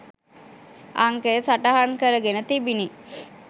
අංකය සටහන් කරගෙන තිබිණි.